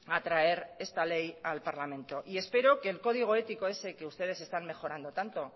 a traer esta ley al parlamento espero que el código ético ese que ustedes están mejorando tanto